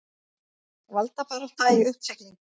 Valdabarátta í uppsiglingu